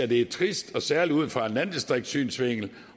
det er trist særlig ud fra en landdistriktsynsvinkel